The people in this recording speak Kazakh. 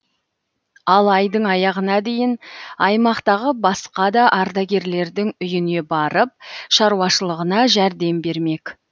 ал айдың аяғына дейін аймақтағы басқа да ардагерлердің үйіне барып шаруашылығына жәрдем бермек